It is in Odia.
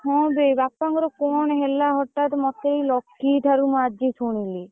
ହଁ ବେ ବାପା ଙ୍କର କଣ ହେଲା ହଟାତ ମତେ ଏଇ ଲକି ଠାରୁ ମୁଁ ଆଜି ଶୁଣିଲି?